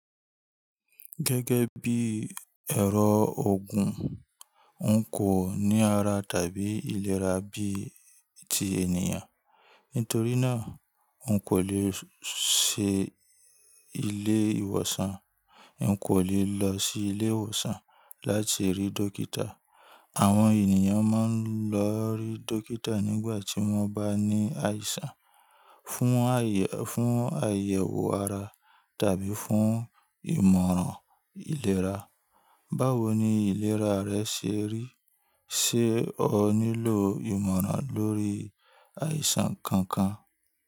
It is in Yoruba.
Gẹ́gẹ́ bí ẹ̀rọ ogun, n kò ní ara tàbí ìlera bí i ti ènìyàn. Nítorí náà, n kò lè ṣe ilé ìwòsàn, n kò lè lọ sí ilé ìwòsàn láti rí dókítà. Àwọn ènìyàn máa ń lọ rí dókítà nígbà tí wọ́n bá ní àìsàn, fún àyẹ̀wò ara tàbí fún ìmọ̀ràn ìlera. Báwo ni ìlera rẹ ṣe rí? Ṣé o nílò ìmọ̀ràn lórí àìsàn kankan?